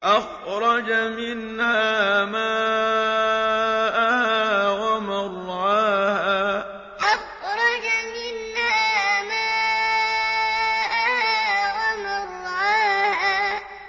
أَخْرَجَ مِنْهَا مَاءَهَا وَمَرْعَاهَا أَخْرَجَ مِنْهَا مَاءَهَا وَمَرْعَاهَا